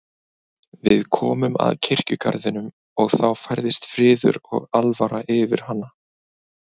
Við komum að kirkjugarðinum og þá færðist friður og alvara yfir hana.